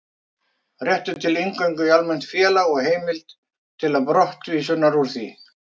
Réttur til inngöngu í almennt félag og heimild til brottvísunar úr því.